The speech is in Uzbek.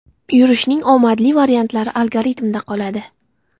Yurishning omadli variantlari algoritmda qoladi.